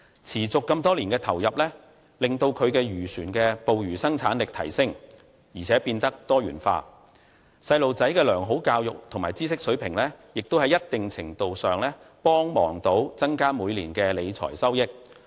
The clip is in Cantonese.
持續多年的投入，讓其漁船的捕魚生產力提升，而且變得多元化，而孩子的良好教育和知識水平也在一定程度上幫助增加每年的理財收益。